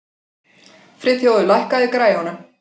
Friðþjófur, lækkaðu í græjunum.